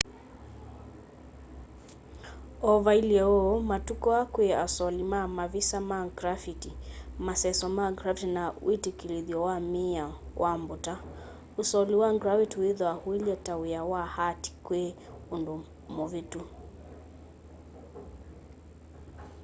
o vailye uu matuku aa kwi asoli ma mavisa ma grafiti maseso ma grafiti na witikilithyo wa miao wa mbuta usoli wa grafiti withwaa uilye ta wia wa art kwi undu muvitu